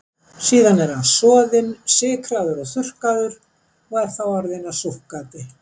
Síðan er hann soðinn, sykraður og þurrkaður og er þá orðinn að súkkati.